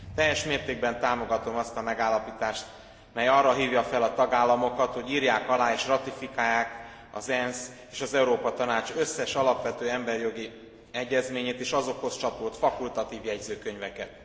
Teljes mértékben támogatom azt a megállapítást, mely arra hívja fel a tagállamokat, hogy írják alá és ratifikálják az ENSZ és az Európa Tanács összes alapvető emberi jogi egyezményét és az azokhoz csatolt fakultatív jegyzőkönyveket.